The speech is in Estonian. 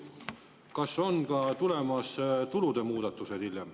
Kas hiljem on tulemas ka tulude muudatused?